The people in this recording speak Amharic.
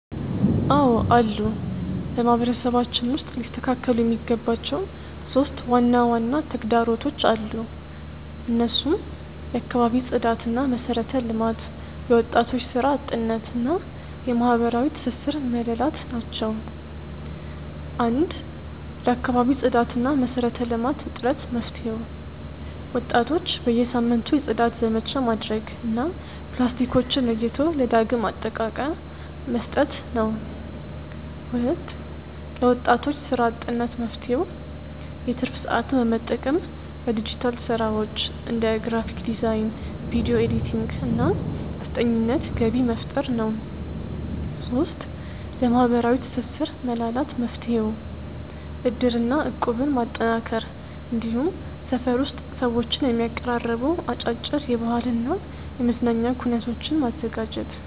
አዎ አሉ። በማህበረሰባችን ውስጥ ሊስተካከሉ የሚገባቸው 3 ዋና ዋና ተግዳሮቶች አሉ። እነሱም የአካባቢ ጽዳትና መሰረተ ልማት፣ የወጣቶች ስራ አጥነት እና የማህበራዊ ትስስር መላላት ናቸው። 1. ለአካባቢ ጽዳትና መሰረተ ልማት እጥረት መፍትሄው፦ ወጣቶች በየሳምንቱ የጽዳት ዘመቻ ማድረግ እና ፕላስቲኮችን ለይቶ ለዳግም አጠቃቀ መስጠት ነው። 2. ለወጣቶች ስራ አጥነት መፍትሄው፦ የትርፍ ሰዓትን በመጠቀም በዲጂታል ስራዎች (እንደ ግራፊክ ዲዛይን፣ ቪዲዮ ኤዲቲንግ) እና አስጠኚነት ገቢ መፍጠር ነው። 3. ለማህበራዊ ትስስር መላላት መፍትሄው፦ እድርና እቁብን ማጠናከር፣ እንዲሁም ሰፈር ውስጥ ሰዎችን የሚያቀራርቡ አጫጭር የባህልና የመዝናኛ ኩነቶችን ማዘጋጀት።